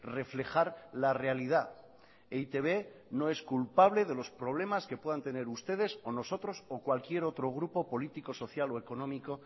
reflejar la realidad e i te be no es culpable de los problemas que puedan tener ustedes o nosotros o cualquier otro grupo político social o económico